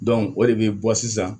o de bɛ bɔ sisan